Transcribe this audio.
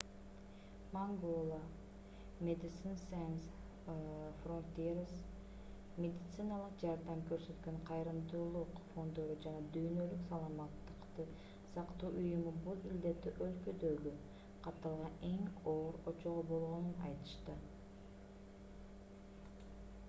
mangola medecines sans frontieres медициналык жардам көрсөткөн кайрымдуулук фонддору жана дүйнөлүк саламаттыкты сактоо уюму бул илдетти өлкөдөгү катталган эң оор очогу болгонун айтышты